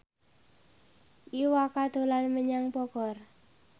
Iwa K dolan menyang Bogor